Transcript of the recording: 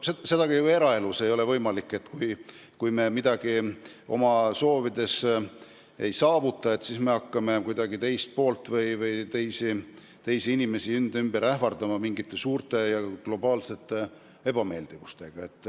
Seda ei tohiks olla ka eraelus, et kui me mõnda oma soovi ei saavuta, siis me hakkame kuidagi teist poolt või teisi inimesi enda ümber ähvardama mingite suurte, vaata et globaalsete ebameeldivustega.